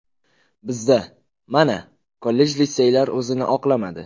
Bizda, mana, kollej-litseylar o‘zini oqlamadi.